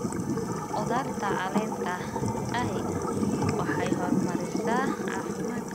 Khudaarta caleenta ahi waxay horumarisaa caafimaadka.